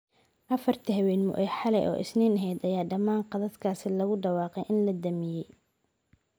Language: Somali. Afartii habeenimo ee xalay oo Isniin ahayd ayaa dhammaan khadadkaas lagu dhawaaqay in la damiyay.